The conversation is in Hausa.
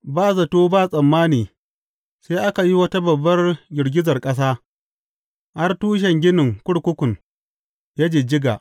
Ba zato ba tsammani sai aka yi wata babbar girgizar ƙasa har tushen ginin kurkukun ya jijjiga.